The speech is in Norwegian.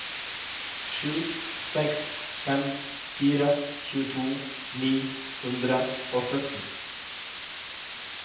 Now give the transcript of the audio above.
sju seks fem fire tjueto ni hundre og sytten